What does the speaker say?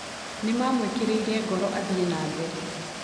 Nĩ maamwĩkĩrire ngoro athiĩ na mbere.